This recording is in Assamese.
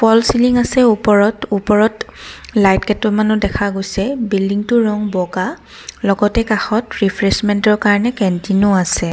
ফল চিলিং আছে ওপৰত ওপৰত লাইট কেইটামানো দেখা গৈছে বিল্ডিংটোৰ ৰঙ বগা লগতে কাষত ৰিফৰেছমেণ্টৰ কাৰণে কেন্টিনও আছে।